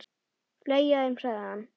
Fleygja þeim, sagði hann.